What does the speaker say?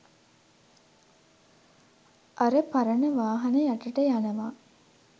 අර පරණ වාහන යටට යනවා